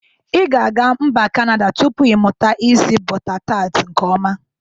I ga aga mba kanada tupu iMụta isi bọta tat nke ọma.